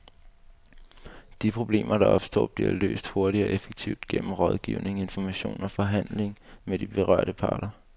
De problemer, der opstår, bliver løst hurtigt og effektivt gennem rådgivning, information og forhandling med de berørte parter.